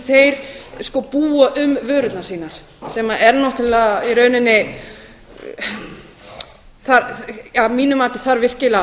þeir búa um vörurnar sínar sem er náttúrlega í rauninni að mínu mati þarf virkilega